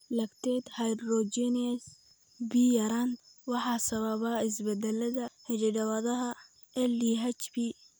Lactate dehydrogenase B yaraanta waxaa sababa isbeddellada hidda-wadaha LDHB.